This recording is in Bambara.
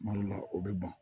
Kuma dɔ la o bɛ ban